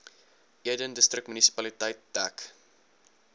eden distriksmunisipaliteit dek